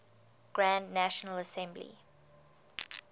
grand national assembly